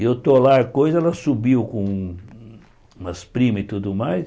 E eu estou lá coisa, ela subiu com umas primas e tudo mais.